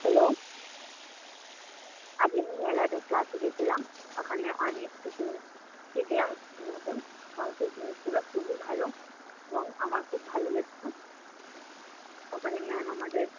Hello আজ আমি মেলাদের ক্লাসে গিয়াছিলাম, ওখানে অনেক কিছু শিখলাম নতুন যিনি ছিল খুবই ভালো এবং আমার খুব ভালো লেগেছে। ওখানে ma'am আমাদের